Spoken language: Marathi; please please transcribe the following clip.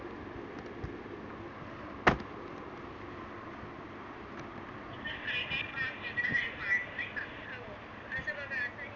आता बघा आता हे.